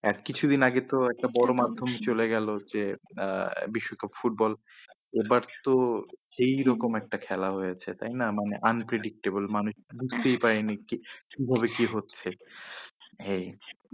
আর কিছুদিন আগে তো একটা বড়ো মাধ্যম চলে গেল, যে আহ বিশ্বকাপ ফুটবল এবার তো এইরকম একটা খেলা হয়েছে তাইনা মানে unpredictable মানে বুঝতেই পারিনি কি~ কিভাবে কি হচ্ছে এই